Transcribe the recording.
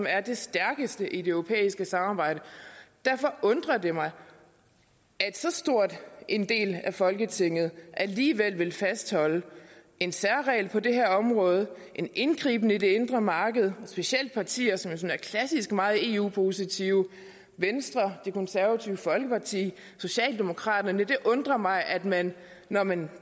er det stærkeste i det europæiske samarbejde derfor undrer det mig at så stor en del af folketinget alligevel vil fastholde en særregel på det her område en indgriben i det indre marked specielt partier som sådan klassisk meget eu positive venstre det konservative folkeparti socialdemokraterne det undrer mig at man når man